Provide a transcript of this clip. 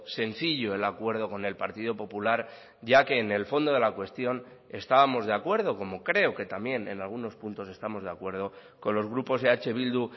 sencillo el acuerdo con el partido popular ya que en el fondo de la cuestión estábamos de acuerdo como creo que también en algunos puntos estamos de acuerdo con los grupos eh bildu